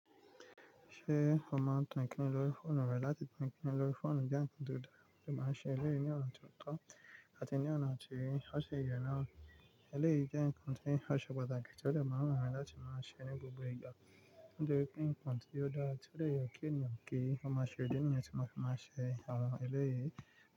Ṣé ó máa ń tọ̀ọ̀n-kíni lórí fóònù rẹ̀ láti tọ̀ọ̀n-kíni lórí fóònù bí àǹtí Dùdú máa ń ṣe? Eléyìí ní ọ̀nà tó tọ́ àti ní ọ̀nà tí ó ṣe ìrònú. Eléyìí jẹ́ nǹkan tí ó ṣe pàtàkì tí ó lè máa wà ní láti máa ṣe ní gbogbo ìgbà. Nítorí pé nǹkan tí ó dá, tí ó lè yọ kí ènìyàn gé, ó máa ṣe ó din ènìyàn tí màá ṣe ọ̀nà eléyìí.